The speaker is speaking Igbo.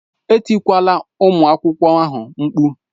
Etikwala ụmụ akwụkwọ ahụ mkpu!